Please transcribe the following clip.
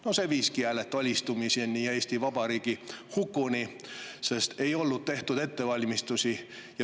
No see viiski hääletu alistumiseni ja Eesti Vabariigi hukuni, sest ei olnud tehtud ettevalmistusi.